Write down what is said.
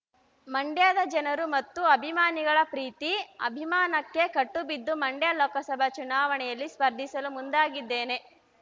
ಮಂಡ್ಯದ ಜನರು ಮತ್ತು ಅಭಿಮಾನಿಗಳ ಪ್ರೀತಿ ಅಭಿಮಾನಕ್ಕೆ ಕಟ್ಟುಬಿದ್ದು ಮಂಡ್ಯ ಲೋಕಸಭಾ ಚುನಾವಣೆಯಲ್ಲಿ ಸ್ಪರ್ಧಿಸಲು ಮುಂದಾಗಿದ್ದೇನೆ